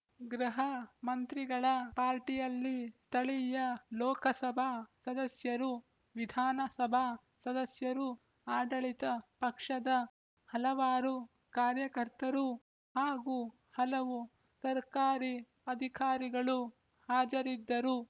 ಗೃಹ ಮಂತ್ರಿಗಳ ಪಾರ್ಟಿಯಲ್ಲಿ ಸ್ಥಳೀಯ ಲೋಕಸಭಾ ಸದಸ್ಯರೂ ವಿಧಾನ ಸಭಾ ಸದಸ್ಯರೂ ಆಡಳಿತ ಪಕ್ಷದ ಹಲವಾರು ಕಾರ್ಯಕರ್ತರೂ ಹಾಗೂ ಹಲವು ಸರಕಾರಿ ಅಧಿಕಾರಿಗಳೂ ಹಾಜರಿದ್ದರು